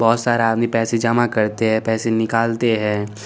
बहोत सारा आदमी पैसा जमा करते है पेसे निकालते है।